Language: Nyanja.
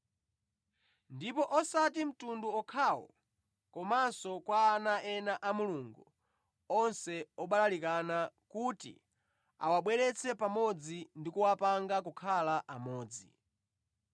ndipo osati mtundu okhawo komanso kwa ana ena a Mulungu onse obalalikana, kuti awabweretse pamodzi ndi kuwapanga kukhala amodzi.